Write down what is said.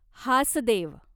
Hasdeo